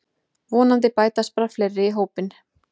Vonandi bætast bara fleiri í hópinn